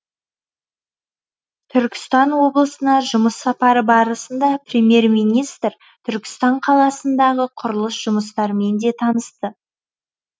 түркістан облысына жұмыс сапары барысында премьер министр түркістан қаласындағы құрылыс жұмыстармен де танысты